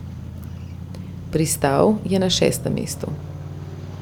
Pristal je na šestem mestu.